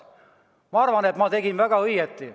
Ma arvan, et ma tegin väga õigesti.